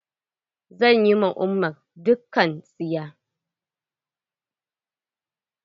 Zan yi ma umar dukkan zahiri.